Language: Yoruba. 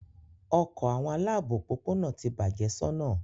Ọkọ awọn alaabo opopona ti bạje sona